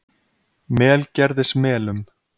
Melgerðismelum